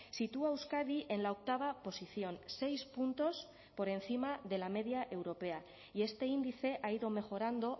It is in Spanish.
sitúa a euskadi en la octava posición seis puntos por encima de la media europea y este índice ha ido mejorando